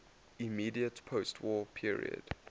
immediate postwar period